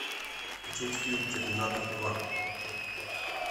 включить фильм терминатор два